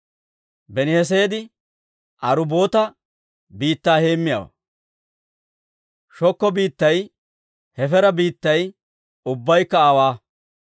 Beniheseedi Arubboota biittaa heemmiyaawaa; Sookko biittay Hefeera biittay ubbaykka aawaa.